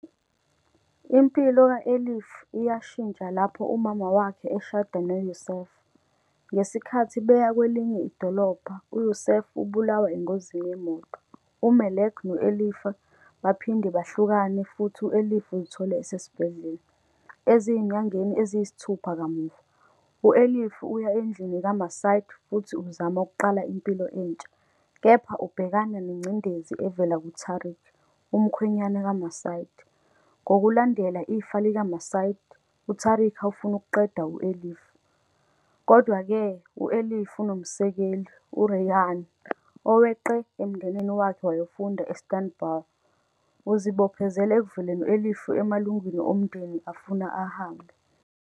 Impilo ka-Elif iyashintsha lapho umama wakhe eshada noYusuf. Ngesikhathi beya kwelinye idolobha, uYusuf ubulawa engozini yemoto. UMelek no-Elif baphinde bahlukana futhi u-Elif uzithola esesibhedlela. Ezinyangeni eziyisithupha kamuva, u-Elif uya endlini kaMacide futhi uzama ukuqala impilo entsha, kepha ubhekana nengcindezi evela kuTarik, umkhwenyana kaMacide. Ngokulandela ifa likaMacide, uTarik ufuna ukuqeda u-Elif. Kodwa-ke, u-Elif unomsekeli, uReyhan, oweqe emndenini wakhe wayofunda e-Istanbul. Uzibophezela ekuvikeleni u-Elif emalungwini omndeni afuna ahambe.